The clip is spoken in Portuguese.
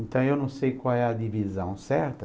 Então, eu não sei qual é a divisão certa.